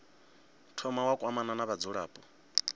thoma wa kwamana na vhadzulapo